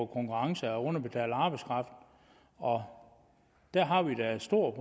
konkurrence af underbetalt arbejdskraft og der har vi da et stort